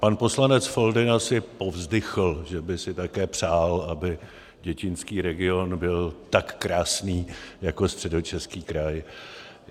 Pan poslanec Foldyna si povzdychl, že by si také přál, aby děčínský region byl tak krásný jako Středočeský kraj.